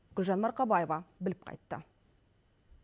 гүлжан марқабаева біліп қайтты